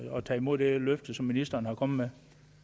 tager imod det løfte som ministeren er kommet